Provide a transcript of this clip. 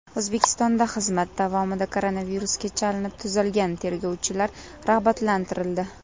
O‘zbekistonda xizmat davomida koronavirusga chalinib, tuzalgan tergovchilar rag‘batlantirildi.